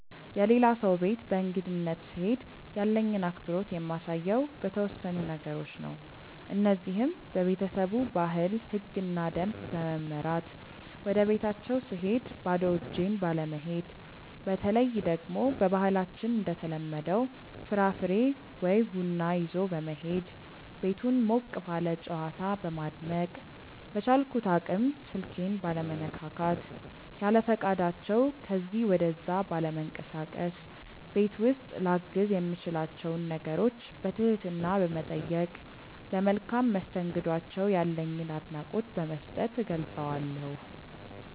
የሌላ ሰው ቤት በእንግድነት ስሄድ ያለኝን አክብሮት የማሳየው በተወሰኑ ነገሮች ነው። እነዚህም:- በቤተሰቡ ባህል፣ ህግና ደንብ በመመራት፣ ወደቤታቸው ስሄድ ባዶ እጄን ባለመሄድ፣ በተለይ ደግሞ በባህላችን እንደተለመደው ፍራፍሬ ወይ ቡና ይዞ በመሄድ፣ ቤቱን ሞቅ ባለ ጨዋታ በማድመቅ፣ በቻልኩት አቅም ስልኬን ባለመነካካት፣ ያለፈቃዳቸው ከዚ ወደዛ ባለመንቀሳቀስ፣ ቤት ውስጥ ላግዝ የምችላቸውን ነገሮች በትህትና በመጠየቅ፣ ለመልካም መስተንግዷቸው ያለኝን አድናቆት በመስጠት እገልፀዋለሁ።